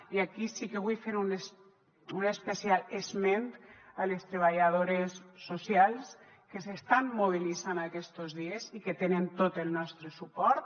i aquí sí que vull fer un especial esment a les treballadores socials que s’estan mobilitzant aquestos dies i que tenen tot el nostre suport